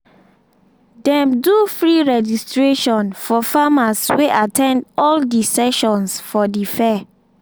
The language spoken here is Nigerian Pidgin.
dem do free registration for farmers wey at ten d all the sessions for the fair.